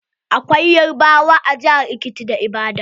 Akwai yarbawa a jihar Ekiti da Ibadan.